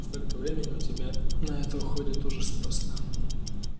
столько времени у тебя на это уходит ужас просто